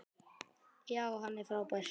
Já, hann er frábær.